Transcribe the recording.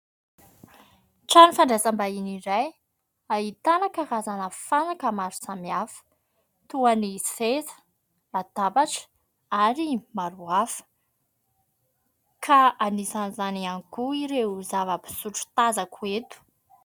Trano fandraisambahiny iray ahitana karazana fanaka maro samihafa toy ny seza, latabatra ary maro hafa ka anisan'izany ihany koa ireo zava-pisotro tazako eto.